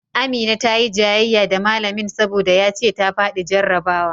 Amina ta yi jayayya da malamin saboda ya ce ta faɗi jarrabawa